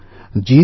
সৃষ্টি করেছে